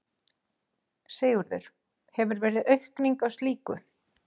Sigurður: Hefur verið aukning á slíku?